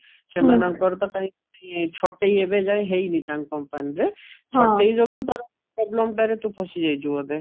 ସେମାନଙ୍କର ତ କୋଉଠି ଛଟେଇ ଏବେ କାଇଁ ହେଇନି ତାଙ୍କ company ରେ ଛଟେଇ ଯୋଗୁ ଟା problem ଟାରେ ତୁ ଫସି ଯାଇଛୁ ବୋଧେ